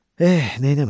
Eh, neyləmək?